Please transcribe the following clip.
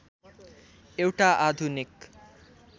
एउटा आधुनिक